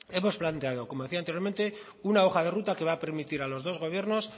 hemos planteado como decía anteriormente una hoja de ruta que va a permitir a los dos gobiernos